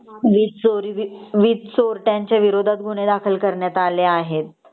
वीज चोरी वीज चोरट्यांच्या विरोधात गुन्हे दाखल करण्यात आले आहेत .